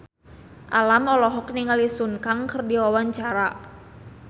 Alam olohok ningali Sun Kang keur diwawancara